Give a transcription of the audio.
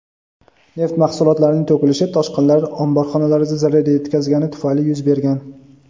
neft mahsulotlarining to‘kilishi toshqinlar omborxonalarga zarar yetkazgani tufayli yuz bergan.